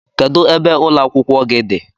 Kedụ ebe ụlọ akwụkwọ gị dị?